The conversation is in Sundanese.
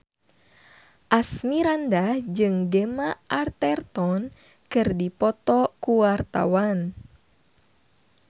Asmirandah jeung Gemma Arterton keur dipoto ku wartawan